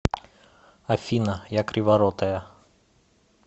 афина я криворотая